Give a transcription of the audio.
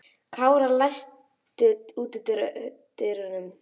Kára, læstu útidyrunum.